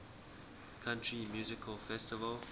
country music festival